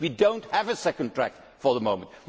track. We do not have a second track for the